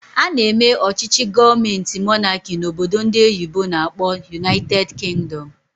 Ana eme ọchịchị gọọmenti monáki n'obodo ndị oyibo n'akpọ "United Kingdom"